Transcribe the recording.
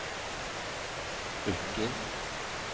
Rykkinn